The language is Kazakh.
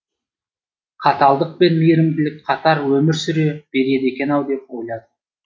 қаталдық пен мейірімділік қатар өмір сүре береді екен ау деп ойладым